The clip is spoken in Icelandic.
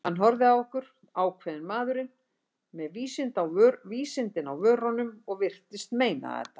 Hann horfði á okkur, ákveðinn maðurinn, með vísindin á vörunum- og virtist meina þetta.